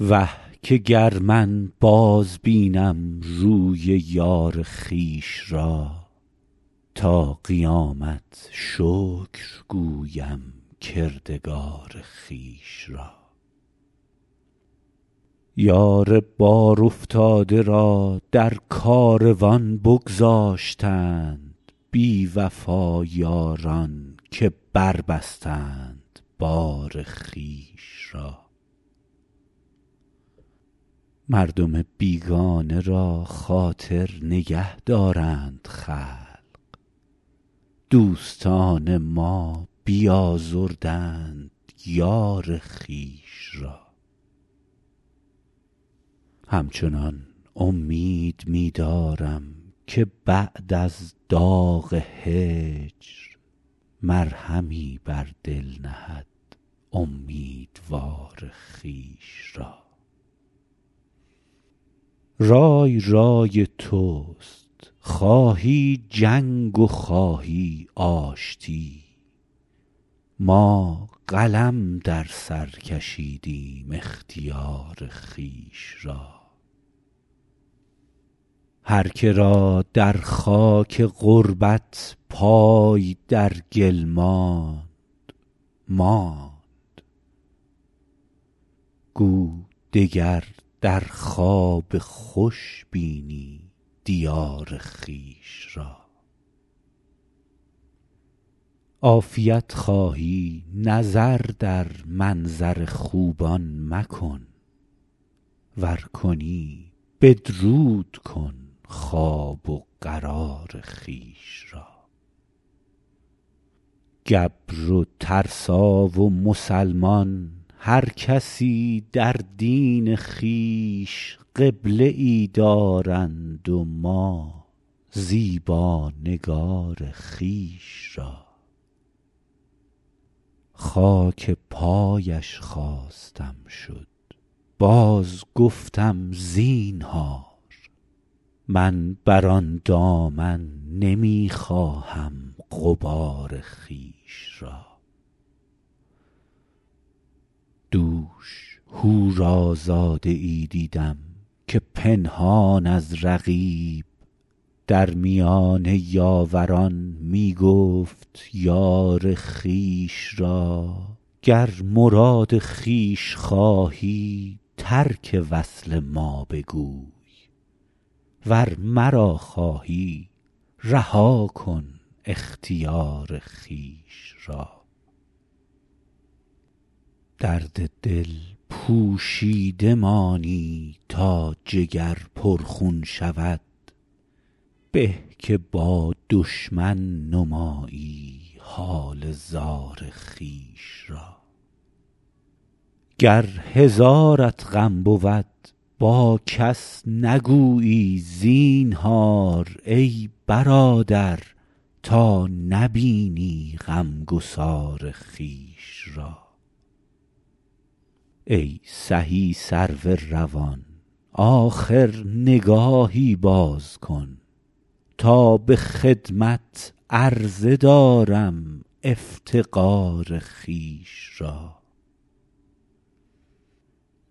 وه که گر من بازبینم روی یار خویش را تا قیامت شکر گویم کردگار خویش را یار بارافتاده را در کاروان بگذاشتند بی وفا یاران که بربستند بار خویش را مردم بیگانه را خاطر نگه دارند خلق دوستان ما بیازردند یار خویش را همچنان امید می دارم که بعد از داغ هجر مرهمی بر دل نهد امیدوار خویش را رای رای توست خواهی جنگ و خواهی آشتی ما قلم در سر کشیدیم اختیار خویش را هر که را در خاک غربت پای در گل ماند ماند گو دگر در خواب خوش بینی دیار خویش را عافیت خواهی نظر در منظر خوبان مکن ور کنی بدرود کن خواب و قرار خویش را گبر و ترسا و مسلمان هر کسی در دین خویش قبله ای دارند و ما زیبا نگار خویش را خاک پایش خواستم شد بازگفتم زینهار من بر آن دامن نمی خواهم غبار خویش را دوش حورازاده ای دیدم که پنهان از رقیب در میان یاوران می گفت یار خویش را گر مراد خویش خواهی ترک وصل ما بگوی ور مرا خواهی رها کن اختیار خویش را درد دل پوشیده مانی تا جگر پرخون شود به که با دشمن نمایی حال زار خویش را گر هزارت غم بود با کس نگویی زینهار ای برادر تا نبینی غمگسار خویش را ای سهی سرو روان آخر نگاهی باز کن تا به خدمت عرضه دارم افتقار خویش را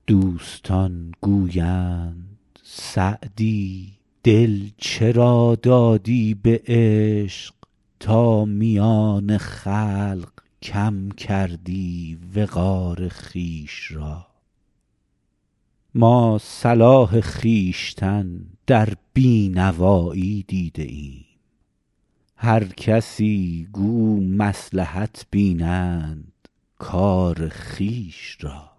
دوستان گویند سعدی دل چرا دادی به عشق تا میان خلق کم کردی وقار خویش را ما صلاح خویشتن در بی نوایی دیده ایم هر کسی گو مصلحت بینند کار خویش را